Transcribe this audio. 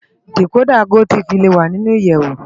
Dikódà gótìfí lé wá ninú iyèwó